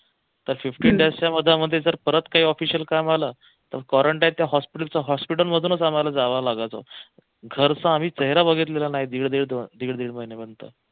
तर fifteen days च्या मधल्या मध्ये जर परत काही official काम आलं तर quarantine hospital च्या hospital मधून आम्हाला जावं लागत होत घरचा आम्ही चेहरा बघितलेला नाही दीड दीड दीड दीड महिने